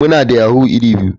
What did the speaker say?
Muna da yahoo iri biyu.